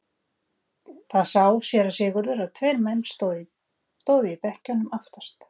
Þá sá síra Sigurður að tveir menn stóðu í bekkjunum aftast.